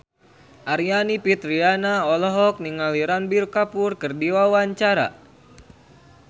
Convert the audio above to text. Aryani Fitriana olohok ningali Ranbir Kapoor keur diwawancara